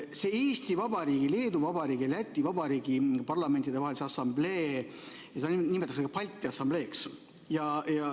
Seda Eesti Vabariigi, Leedu Vabariigi ja Läti Vabariigi Parlamentidevahelist Assambleed nimetatakse ka Balti Assambleeks.